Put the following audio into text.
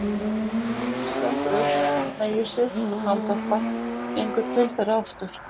Hann stendur upp, hneigir sig, andvarpar, gengur til þeirra aftur.